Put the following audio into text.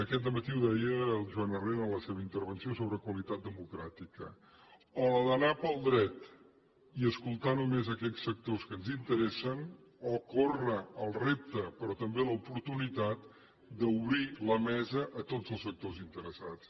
aquest dematí ho deia el joan herrera en la seva intervenció sobre qualitat democràtica o la d’anar pel dret i escoltar només aquells sectors que ens interessen o córrer el repte però també l’oportunitat d’obrir la mesa a tots els sectors interessats